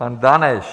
Pan Daneš.